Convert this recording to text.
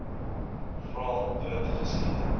vra dood geskiet